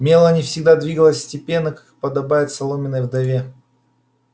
мелани всегда двигалась степенно как и подобает соломенной вдове